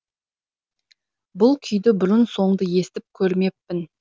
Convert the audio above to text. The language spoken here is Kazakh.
бұл күйді бұрын соңды естіп көрмеппін